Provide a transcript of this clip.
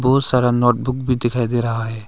बहुत सारा नोटबुक भी दिखाई दे रहा है।